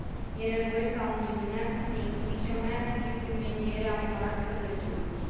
E nevoie ca Uniunea să se implice mai activ în medierea unor astfel de soluții.